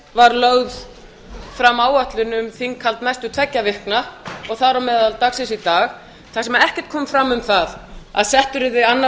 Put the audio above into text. var lögð fram áætlun um þinghald næstu tveggja vikna og þar á meðal dagsins í dag þar sem ekkert kom fram um það að settur yrði annar